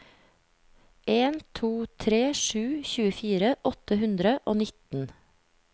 en to tre sju tjuefire åtte hundre og nitten